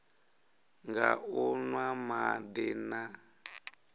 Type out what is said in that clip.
nga u nwa madi na